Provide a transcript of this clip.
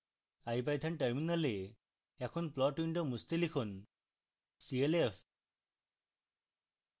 ipython terminal in plot window মুছতে লিখুন clf